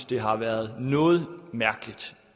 det har været noget mærkeligt